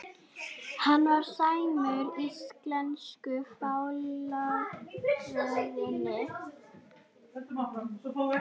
Hann var sæmdur íslensku fálkaorðunni